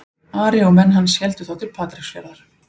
Ari og menn hans héldu þá til Patreksfjarðar.